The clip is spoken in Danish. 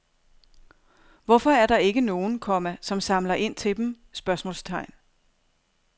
Hvorfor er der ikke nogen, komma som samler ind til dem? spørgsmålstegn